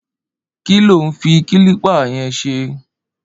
Ki ló n fi kilipi yẹn ṣé?